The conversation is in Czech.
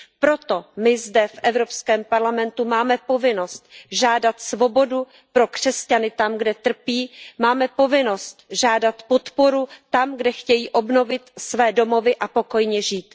Proto my zde v Evropském parlamentu máme povinnost žádat svobodu pro křesťany tam, kde trpí, máme povinnost žádat podporu tam, kde chtějí obnovit své domovy a pokojně žít.